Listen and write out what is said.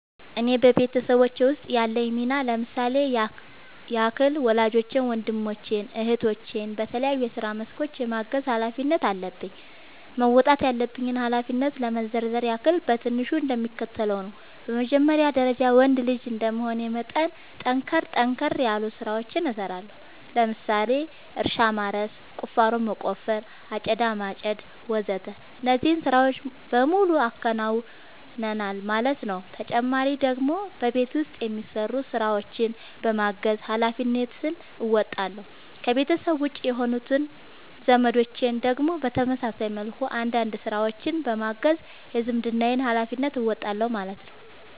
እኔ በቤተሰቦቼ ውስጥ ያለኝ ሚና ለምሳሌ ያክል ወላጆቼን ወንድሞቼን እህቶቼን በተለያዩ የስራ መስኮች የማገዝ ኃላፊነት አለብኝ። መወጣት ያለብኝን ኃላፊነት ለመዘርዘር ያክል በትንሹ እንደሚከተለው ነው በመጀመሪያ ደረጃ ወንድ ልጅ እንደመሆኔ መጠን ጠንከር ጠንከር ያሉ ስራዎችን እሰራለሁ ለምሳሌ እርሻ ማረስ፣ ቁፋሮ መቆፈር፣ አጨዳ ማጨድ ወዘተ እነዚህን ስራዎች በሙሉ አከናውናል ማለት ነው ተጨማሪ ደግሞ በቤት ውስጥ የሚሰሩ ስራዎችን በማገዝ ሃላፊነትን እንወጣለሁ። ከቤተሰቤ ውጪ የሆኑት ዘመዶቼን ደግሞ በተመሳሳይ መልኩ አንዳንድ ስራዎችን በማገዝ የዝምድናዬን ሀላፊነት እወጣለሁ ማለት ነው